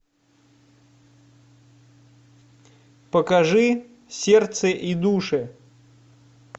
покажи сердце и души